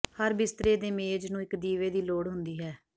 ਹਰ ਬਿਸਤਰੇ ਦੇ ਮੇਜ਼ ਨੂੰ ਇਕ ਦੀਵੇ ਦੀ ਲੋੜ ਹੁੰਦੀ ਹੈ